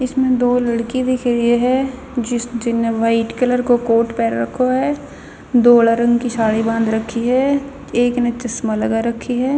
इसमह दो लड़की दिख री ह जिस जिन्ने वाइट कलर को कोट पेहर रखो ह धोल्ह रंग की स्याडी बांध रखी ह एक न चश्मा लगा राखी ह.